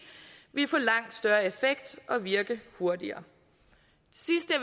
ville få langt større effekt og virke hurtigere